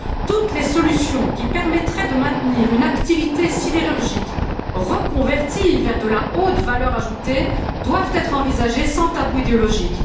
Toutes les solutions qui permettraient de maintenir une activité sidérurgique, reconvertie vers de la haute valeur ajoutée, doivent être envisagées sans tabou idéologique.